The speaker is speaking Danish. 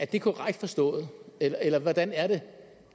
det korrekt forstået eller eller hvordan er det